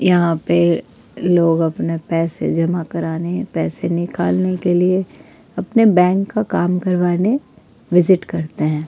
यहां पे लोग अपने पैसे जमा कराने पैसे निकालने के लिए अपने बैंक का काम करवाने विजिट करते हैं।